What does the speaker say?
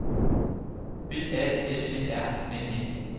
B A S E R N E